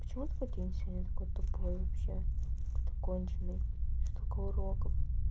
почему такой день сегодня такой тупой вообще-то конченый столько уроков